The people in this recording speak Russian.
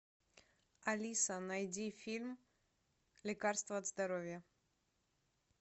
алиса найди фильм лекарство от здоровья